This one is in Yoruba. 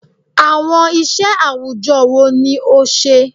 Awọn iṣẹ awujọ wo ni o ṣe?